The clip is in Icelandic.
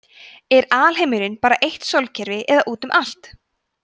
er alheimurinn bara eitt sólkerfi eða út um allt